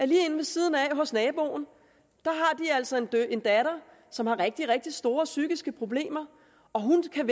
lige inde ved siden af hos naboen altså har en datter som har rigtig rigtig store psykiske problemer og hun kan